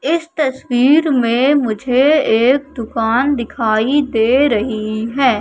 इस तस्वीर मे मुझे एक दुकान दिखाई दे रही है।